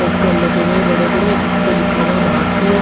poster लगे हुए है बड़े बड़े जिसपर लिखा हुआ है भारतीय --